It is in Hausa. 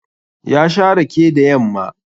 Ya sha rake da yamma